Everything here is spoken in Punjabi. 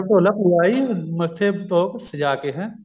ਪਟੋਲਾ ਭੂਆ ਆਈ ਮੱਥੇ ਤੋਪ ਸਜ਼ਾ ਕੇ